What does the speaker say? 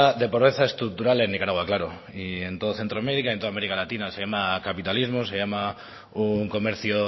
de pobreza estructural en nicaragua claro y en todo centroamérica y en toda américa latina se llama capitalismo se llama un comercio